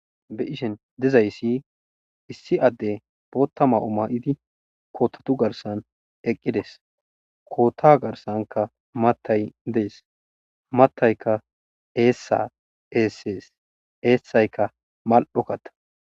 Beiishin diizaysi issi addey booththa mayo mayidi koththatu garssan eqqides kootta garssanka mattay dessi mattaykka eessa essesi essayka maali'o kaatta.